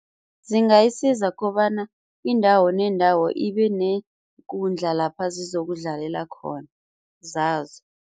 Zingayisiza kobana indawo nendawo ibe neekundla lapha zizokudlalela khona zazo.